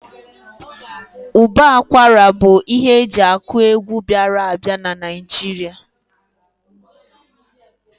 Ụbọ akwara bụ ihe eji akụ egwu bịara a bịa n'Naijiria